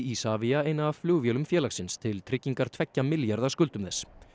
Isavia eina af flugvélum félagsins til tryggingar tveggja milljarða skuldum þess